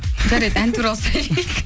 жарайды ән туралы сұрайық